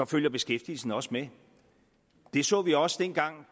følger beskæftigelsen også med det så vi også dengang